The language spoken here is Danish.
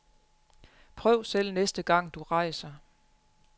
Prøv selv næste gang, du rejser.